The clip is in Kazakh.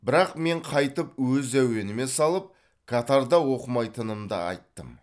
бірақ мен қайтып өз әуеніме салып катарда оқымайтынымды айттым